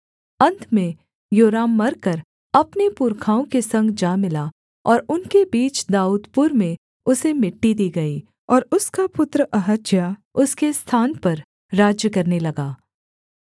अन्त में योराम मरकर अपने पुरखाओं के संग जा मिला और उनके बीच दाऊदपुर में उसे मिट्टी दी गई और उसका पुत्र अहज्याह उसके स्थान पर राज्य करने लगा